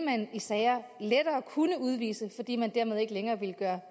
kunne udvises fordi man dermed ikke længere vil gøre